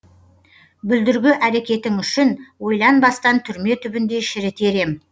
бүлдіргі әрекетің үшін ойланбастан түрме түбінде шірітер ем